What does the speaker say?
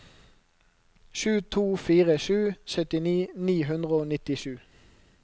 sju to fire sju syttini ni hundre og nittisju